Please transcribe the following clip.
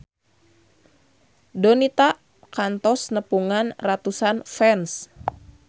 Donita kantos nepungan ratusan fans